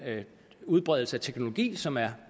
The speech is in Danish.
udbredelse af teknologi som er